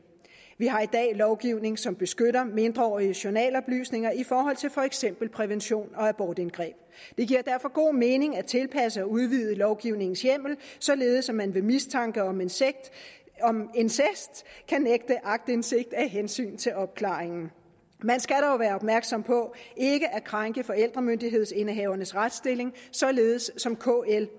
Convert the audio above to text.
vi har i dag lovgivning som beskytter mindreåriges journaloplysninger i forhold til for eksempel prævention og abortindgreb det giver derfor god mening at tilpasse og udvide lovgivningens hjemmel således at man ved mistanke om incest kan nægte aktindsigt af hensyn til opklaringen man skal dog være opmærksom på ikke at krænke forældremyndighedsindehavernes retsstilling således som kl